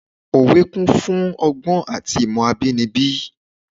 Òwe kún fún ọgbọ́n àti ìmọ̀ abínibí.